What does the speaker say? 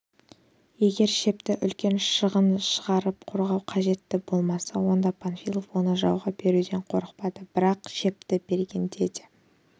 егер шепті үлкен шығын шығарып қорғау қажеттігі болмаса онда панфилов оны жауға беруден қорықпады бір-ақ шепті бергенде де